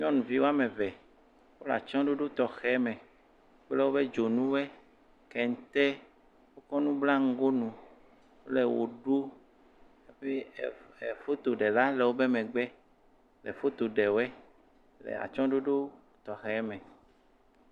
Nyɔnuvi woame ve. Wole atsyɔ̃ɖoɖo tɔxɛ me kple woƒe dzonuwoɛ, kente. Kɔ nu bla nugonu wole ʋe ɖuu. Hafi ɛm ɛm fotoɖela le woƒe megb le foto ɖe woɛ le atsyɔ̃ɖoɖo tɔxɛ me.